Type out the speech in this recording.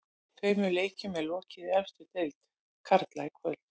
Tveimur leikjum er lokið í efstu deild karla í kvöld.